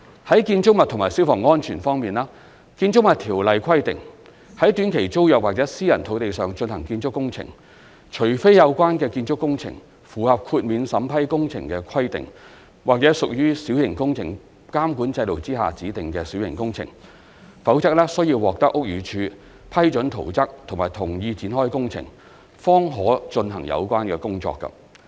在建築物及消防安全方面，《建築物條例》規定，在短期租約或私人土地上進行建築工程，除非有關建築工程符合豁免審批工程的規定，或屬小型工程監管制度下指定的小型工程，否則須獲得屋宇署批准圖則及同意展開工程，方可進行有關工程。